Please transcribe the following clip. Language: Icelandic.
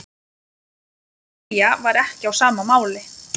En Freyja var ekki á sama máli.